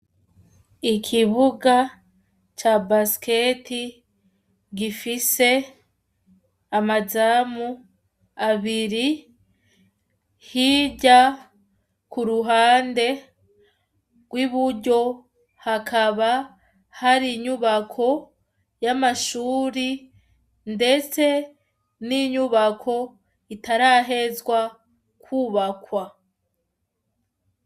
Ikibuga ca basket gifise, amazamu, abiri hirya kuruhande rw'iburyo hakaba Hari inyumbako y'amashure ndetse n'inyubako itarahezwa kubakwa.